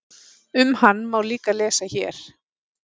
Um hann má líka lesa hér.